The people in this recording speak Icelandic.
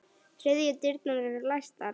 Þriðju dyrnar eru læstar.